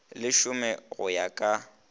le šome go ya ka